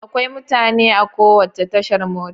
Akwai mutane a kowace tashar mota.